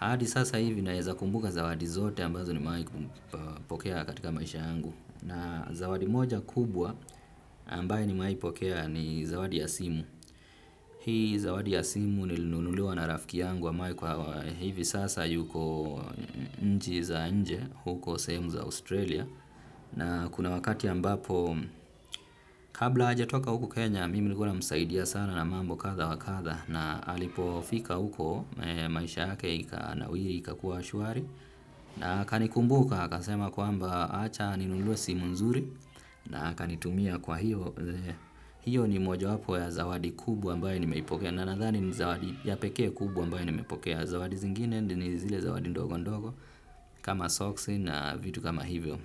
Hadi sasa hivi naeza kumbuka zawadi zote ambazo nimewai kupokea katika maisha yangu. Na zawadi moja kubwa ambaye nimewai pokea ni zawadi ya simu. Hii zawadi ya simu nilinunuliwa na rafiki yangu ambaye kwa hivi sasa yuko nchi za nje huko sehemu za Australia. Na kuna wakati ambapo kabla hajatoka huku Kenya mimi nilikuwa namsaidia sana na mambo kadha wa kadha. Na alipo fika huko, maisha yake ikanawiri, ikakuwa shwari. Na akanikumbuka, akasema kwamba acha ninunuliwe simu nzuri. Na aka nitumia kwa hiyo. Hiyo ni mojawapo ya zawadi kubwa ambaye nimeipokea. Na nadhani ni zawadi ya pekee kubwa ambayo nimepokea. Zawadi zingine ni zile zawadi ndogo ndogo kama socks na vitu kama hivyo.